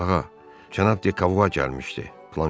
Ağa, cənab De Kava gəlmişdi, Planşer dedi.